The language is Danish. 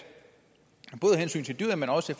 hensyn til dyret men også